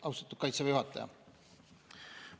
Austatud Kaitseväe juhataja!